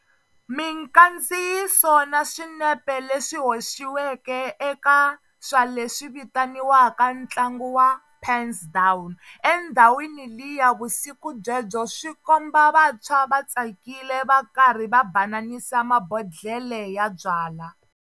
Mikandziyiso na swinepe leswi hoxiweke eka swa leswi vitaniwaka tlangu wa 'pens down' endhawini liya vusiku byebyo swi komba vantshwa va tsakile va karhi va bananisa mabondhlele ya byala.